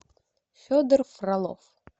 федор фролов